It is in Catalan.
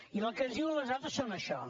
i el que ens diuen les dades són això